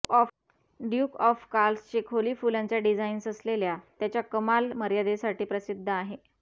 Duke of कार्लचे खोली फुलांचा डिझाईन्स असलेल्या त्याच्या कमाल मर्यादेसाठी प्रसिद्ध आहे